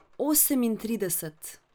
Osemintrideset.